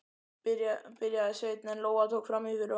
byrjaði Sveinn en Lóa tók fram í fyrir honum